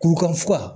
Kuru ka fuga